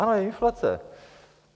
Ano, je inflace.